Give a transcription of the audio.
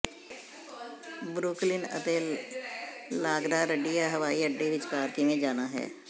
Brooklyn ਅਤੇ LaGuardia ਹਵਾਈ ਅੱਡੇ ਵਿਚਕਾਰ ਕਿਵੇਂ ਜਾਣਾ ਹੈ